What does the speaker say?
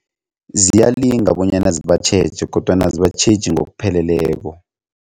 Ziyalinga bonyana zibatjheje kodwana azibatjheji ngokupheleleko.